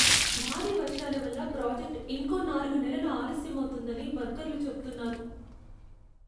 భారీ వర్షాల వల్ల ప్రాజెక్ట్ ఇంకో నాలుగు నెలలు ఆలస్యమౌతుందని వర్కర్లు చెప్తున్నారు.